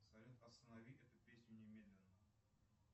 салют останови эту песню немедленно